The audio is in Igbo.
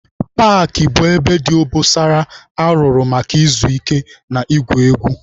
Paakị bụ ebe dị obosara arụrụ maka izu ike na igwu egwu.